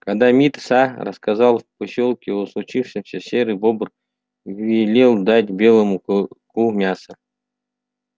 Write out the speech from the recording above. когда мит са рассказал в посёлке о случившемся серый бобр велел дать белому клыку мяса